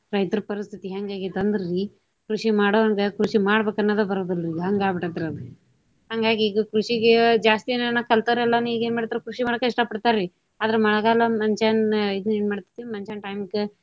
ರೈತರ ಪರಸ್ಥಿತಿ ಹೆಂಗ ಆಗೆತಿ ಅಂದ್ರ ರಿ ಕೃಷಿ ಮಾಡೊವಂಗೆ ಕೃಷಿ ಮಾಡ್ಬೇಕ ಅನ್ನೋದ ಬರೋದಿಲ್ರಿ ಹಂಗ ಆಗಿ ಬಿಟೈತ್ರಿ ಅದ. ಹಂಗಾಗಿ ಈಗ ಕೃಷಿಗೆ ಜಾಸ್ತಿ ಎನಾರ ಕಲ್ತಾವ್ರೆಲ್ಲಾನು ಈಗೇನ ಮಾಡತಾರ ಕೃಷಿ ಮಾಡಾಕ ಇಷ್ಟಾ ಪಡ್ತಾರಿ. ಆದ್ರ ಮಳೆಗಾಲ ಮನಷ್ಯಾನ ಇದನ್ನ ಏನ ಮಾಡ್ತೇತಿ ಮನಷ್ಯಾನ time ಕ.